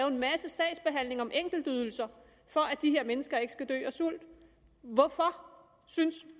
en masse sagsbehandling om enkeltydelser for at de her mennesker ikke skal dø af sult hvorfor synes